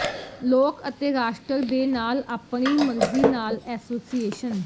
ਲੋਕ ਅਤੇ ਰਾਸ਼ਟਰ ਦੇ ਨਾਲ ਆਪਣੀ ਮਰਜ਼ੀ ਨਾਲ ਐਸੋਸੀਏਸ਼ਨ